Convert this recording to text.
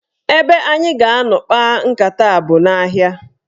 Ebe anyị ga-anọ kpaa nkata a bụ n'ahịa.